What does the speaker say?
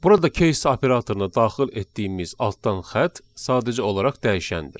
Burada case operatoruna daxil etdiyimiz altdan xətt sadəcə olaraq dəyişəndir.